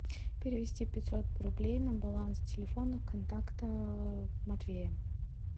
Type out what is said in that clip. перевести пятьсот рублей на баланс телефона контакта матвея